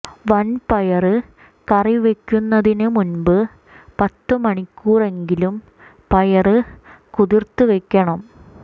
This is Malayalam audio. വന്പയര് കറി വെക്കുന്നതിന് മുന്പ് പത്ത് മണിക്കൂറെങ്കിലും പയര് കുതിര്ത്ത് വെക്കണം